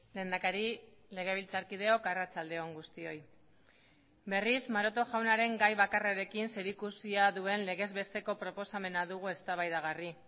lehendakari legebiltzarkideok arratsaldeon guztioi berriz maroto jaunaren gai bakarrekin zerikusia duen legez besteko proposamena dugu eztabaidagarri